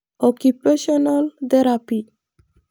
Occupational therapy.